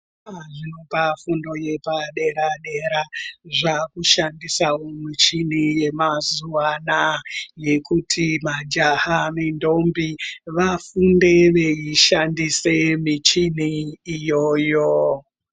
Zvikoro zvepafundo yepadera-dera zvakushandisavo michini yamazuva anaya, yekuti majaha nendombi vafunde veishandise michini iyoyo.